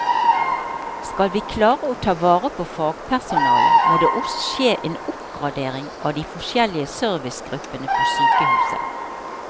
Skal vi klare å ta vare på fagpersonalet, må det også skje en oppgradering av de forskjellige servicegruppene på sykehuset.